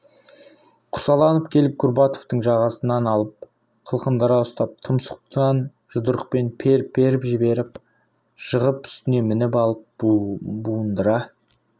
құсаланып келіп курбатовтың жағасынан алып қылқындыра ұстап тұмсықтан жұдырықпен періп-періп жіберіп жығып үстіне мініп алып буындыра